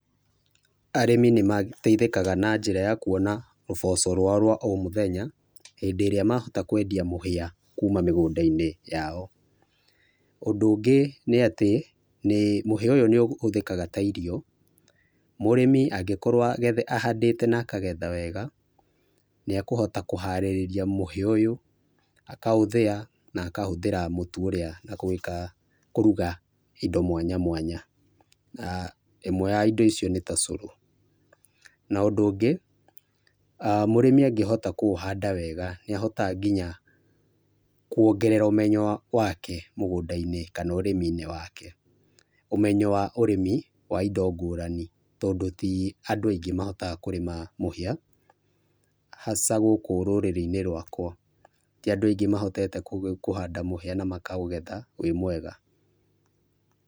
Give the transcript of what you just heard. Arĩmĩ nĩ mateĩthĩkaga na njĩra ya kũona ũboco rwao rwa o mũthenya hĩndĩ ĩrĩia mahota kendĩa mũhĩa kũma migũndainĩ yao, ũndũ ũngĩ nĩ atĩ, mũhĩa ũyũ nĩ ũhũthĩkaga ta irio mũrĩmi angĩkorwo arĩmĩte na akagetha wega nĩ ekũhota kũharĩrria mũhĩa ũyũ aka ũthĩa na aka hũthĩra mũtũ ũrĩa na gwĩka kũrga indo mwanya mwanya aah ĩmwe ya indo iciio nĩ ta cũrũ. Na ũndũ ũngĩ mũrĩmĩ angĩhota kũũhanda wega nĩ ahotaga ngĩnya kũongerera ũmenyo wake mũgũnda-inĩ kana ũrĩmi inĩ wake. Omenyo wa ũrĩmi wa indo ngũrani tondũ tĩ andũ aĩngĩ mahotaga kũrĩma indo ta mũhĩa hasa gũkũ rũrĩrĩ inĩ rwakwa tĩ andũ aingĩ mahotete kũhanda mũhĩa na makagetha wĩ mwega.